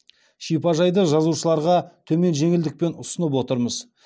шипажайды жазушыларға төмен жеңілдікпен ұсынып отырмыз